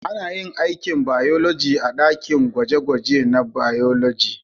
Ana yin aikin bayologi a dakin gwaje-gwaje na bayologi.